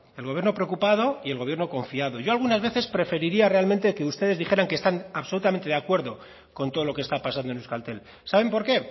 el gobierno preocupado y el gobierno confiado yo algunas veces preferiría realmente que ustedes dijeran que están absolutamente de acuerdo con todo lo que está pasando en euskaltel saben por qué